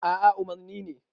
a a umarni ne